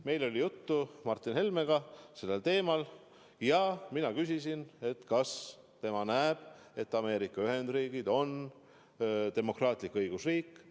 Meil oli Martin Helmega sellel teemal juttu ja mina küsisin, kas tema näeb, et Ameerika Ühendriigid on demokraatlik õigusriik.